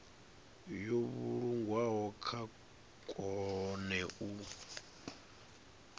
yo vhulungwaho vha kone u